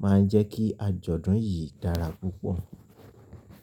máa ń jẹ́ kí àjọ̀dún yìí dára púpọ̀.